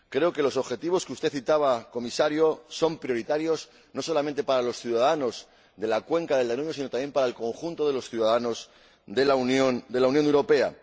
Creo que los objetivos que usted citaba, señor Comisario, son prioritarios, no solamente para los ciudadanos de la cuenca del Danubio, sino también para el conjunto de los ciudadanos de la Unión Europea.